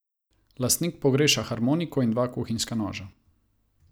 Lastnik pogreša harmoniko in dva kuhinjska noža.